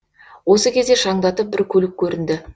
осы кезде шаңдатып бір көлік көрінді